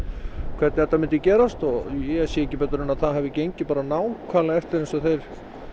hvernig þetta myndi gerast og ég sé ekki betur en að það hafi gengið nákvæmlega eftir eins og þeir